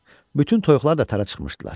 Bütün toyuqlar da tara çıxmışdılar.